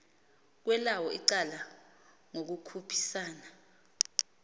kwelawo icala ngokukhuphisana